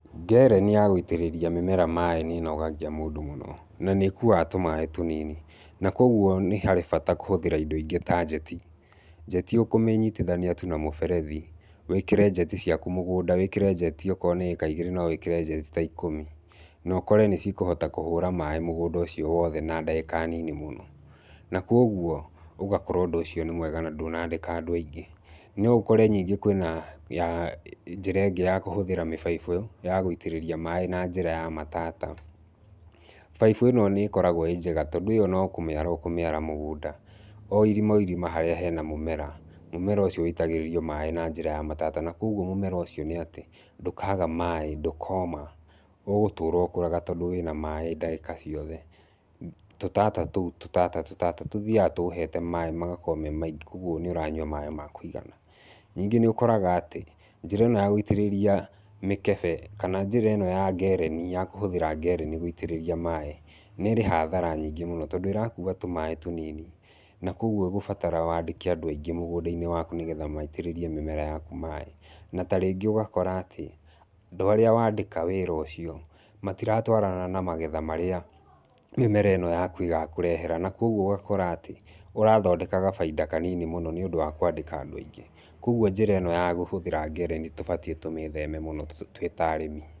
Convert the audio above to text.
Ngereni ya gũitĩrĩria mĩmera maĩ nĩ ĩnogagia mũndũ mũno. Na nĩ ĩkuaga tũmaĩ tũnini. Na kũguo nĩ harĩ bata kũhũthĩra indo ingĩ ta njeti. Njeti ũkũmĩnyitithania tu na mũberethi, wĩkĩre njeti ciaku mũgũnda, wĩkĩre njeti okorwo mũgũnda nĩ ĩĩka igĩrĩ no wĩkĩre njeti ta ikũmi. Na ũkore nĩ cikũhota kũhũra maĩ mũgũnda ũcio wotha na ndagĩka nini mũno. Na kũguo ũgakora ũndũ ũcio nĩ mwega na ndũnandĩka andũ aingĩ. No ũkore nyingĩ kwĩna ya njĩra ĩngĩ ya kũhũthĩra mĩbaibũ ya gũitĩrĩria maĩ na njĩra ya matata. Baibũ ĩno nĩ ĩkoragwo ĩĩ njega. Tondũ ĩyo no kũmĩara ũkũmĩara mũgũnda. O irima o irima harĩa hena mũmera, mũmera ũcio wĩitagĩrĩrio maĩ na njĩra ya matata. Na kũguo mũmera ũcio nĩ atĩ, ndũkaga maĩ, ndũkoma. Ũgũtũra ũkũrũga tondũ wĩna maĩ ndagĩka ciothe, tũtata tũu tũtata tũtata, tũthiaga tũũhete maĩ magakorwo me maingĩ. Kũguo nĩ ũranyua maĩ ma kũigana. Nyingĩ nĩ ũkoraga atĩ, njĩra ĩno ya gũitĩrĩria mĩkebe, kana njĩra ĩno ya ngereni ya kũhũthĩra ngereni gũitĩrĩria maĩ, nĩ ĩrĩ hathara nyingĩ mũno. Tondũ ĩrakuua tũmaĩ tũnini, na kũguo ĩgũbatara wandĩke andũ aingĩ mũgũnda-inĩ waku nĩgetha maitĩrĩrie mĩmera yaku maĩ. Na tarĩngĩ ũgakora atĩ, andũ arĩa wandĩka wĩra ũcio, matiratwarana na magetha marĩa mĩmera ĩno yaku ĩgakũrehera. Na kũguo ũgakora atĩ, ũrathondeka gabaida kanini mũno nĩ ũndũ wa kwandĩka andũ aingĩ. Kũguo njĩra ĩno ya kũhũthĩra ngereni tũbatiĩ tũmĩĩtheme mũno twĩ ta arĩmi.